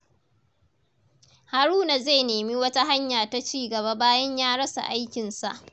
Haruna zai nemi wata hanya ta cigaba bayan ya rasa aikinsa.